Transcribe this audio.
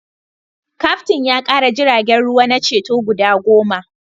Kaftin ya kara jiragen ruwa na ceto guda goma